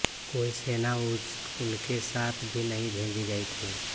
कोई सेना उनके साथ भी नहीं भेजी गई थी